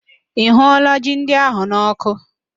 Ị hụụọla ji ndị ahụ n'ọkụ